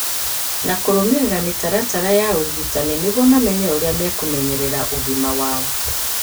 na kũrũmĩrĩra mĩtaratara ya ũrigitani nĩguo mamenye ũrĩa mekũmenyerera ũgima wao.